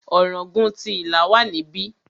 Ọ̀ràngún ti Ìlá wà níbí.